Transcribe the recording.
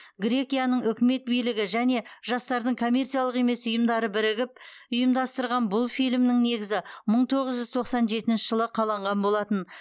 грекияның үкімет билігі және жастардың коммерциялық емес ұйымдары бірігіп ұйымдастырған бұл фильмнің негізі мың тоғыз жүз тоқсан жетінші жылы қаланған болатын